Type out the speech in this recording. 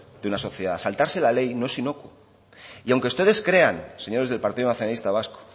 de una sociedad saltarse la ley no es inocuo aunque ustedes crean señores del partido nacionalista vasco